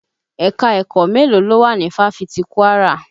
Ẹ̀ka-ẹ̀kọ́ mélóò ló wà ni fáfitì Kwara?